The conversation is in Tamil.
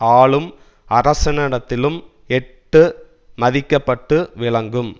ஆளும் அரசனிடத்திலும் எட்டி மதிக்கப்பட்டு விளங்கும்